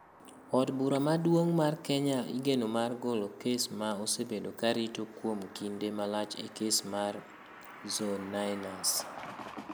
Od Bura Maduong ' mar Kenya igeno mar golo kes ma osebedo ka rito kuom kinde malach e kes mar @Zone9ners.